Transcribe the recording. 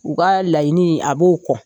U ka laiɲini a b'o kɔ